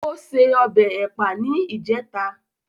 Ó se ọbẹ̀ Ẹ̀pà ní ìjẹta